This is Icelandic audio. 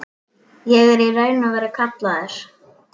Ég er í raun og veru kallaður.